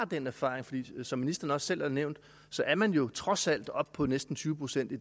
den erfaring for som ministeren også selv har nævnt er man jo trods alt oppe på at næsten tyve procent i